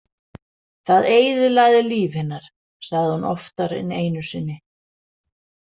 Það eyðilagði líf hennar, sagði hún oftar en einu sinni.